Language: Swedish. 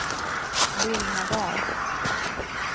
Lillhärdal